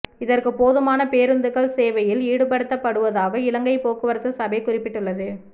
இதற்கு போதுமான பேருந்துகள் சேவையில் ஈடுபடுத்தப்படுவதாக இலங்கை போக்குவரத்து சபை குறிப்பிட்டுள்ளது